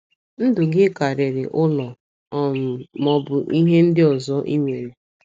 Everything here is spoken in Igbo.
Ndụ gị karịrị ụlọ um ma ọ bụ ihe ndị ọzọ i nwere.